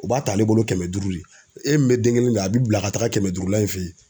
U b'a ta ale bolo kɛmɛ duuru le e min bɛ den kelen ta a bɛ bila ka taga kɛmɛ duuru la in fɛ yen.